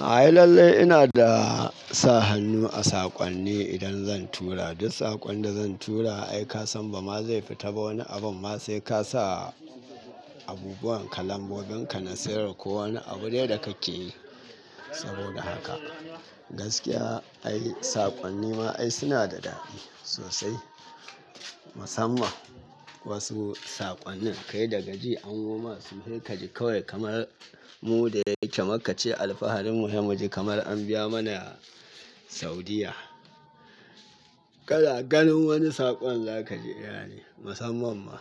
Ai lallai ina da sa hannu a saƙonni idan zan tura. Duk saƙon da zan tura ai kasan bama zai fita ba wani abu ma sai ka sa abubuwan kalango ginka na sayar wa ko wani abu dai da kake yi. Saboda haka, gaskiya ai saƙonni ma ai suna da daɗi sosai. Musamman wasu saƙonnin kai da gaji an yoma su haika ji kawai kamar mu da yake Makka ce alfaharin mu sai muji kamar an biya mana Saudiyya. Kana ganin wani saƙon za ka ji eh yane, musamman ma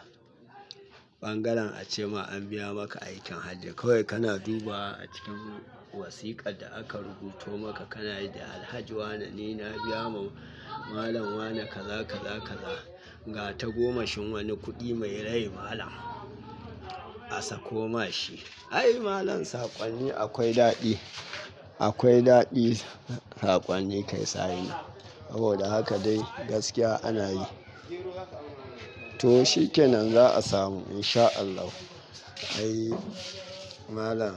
ɓangaren ace ma an biya maka aikin hajji kawai kana dubawa a cikin wasiƙar da aka rubuto maka kana ji alhaji wane ne na biya ma malam wane kaza kaza kaza, ga tagoma shin wani kuɗi mai rai malam a sakoma shi. Ai malam saƙonni akwai daɗi, akwai daɗi saƙonni kai signing. Saboda haka dai gaskiya ana yi. To shi kenan za'a samu in sha Allahu. Ai malam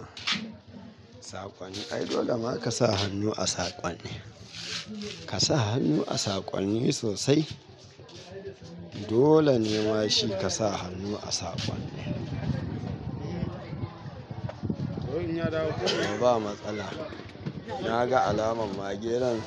saƙonni ai dole ma ka sa hannu a saƙonni. Ka sa hannu a saƙonni sosai. Dole ne ma shi ka sa hannu a saƙon. Ba matsala. Na ga alamar mage nan.